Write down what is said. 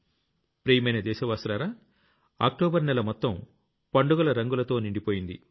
ప్రియమైన దేశవాసులారా అక్టోబర్ నెల మొత్తం పండుగల రంగులతో నిండిపోయింది